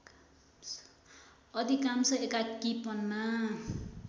अधिकाम्स एकाकीपनमा